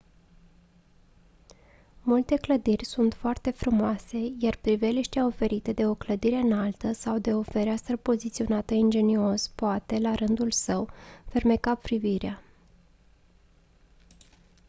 multe clădiri sunt foarte frumoase iar priveliștea oferită de o clădire înaltă sau de o fereastră poziționată ingenios poate la rândul său fermeca privirea